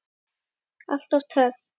Alltaf töff.